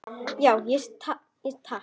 Já, takk.